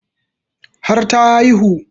Har ta haihu